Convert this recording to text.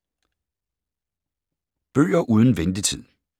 Bøger uden ventetid